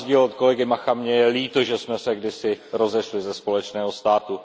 A na rozdíl od kolegy Macha mně je líto, že jsme se kdysi rozešli ze společného státu.